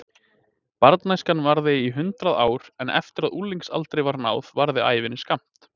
Barnæskan varði í hundrað ár en eftir að unglingsaldri var náð varði ævin skammt.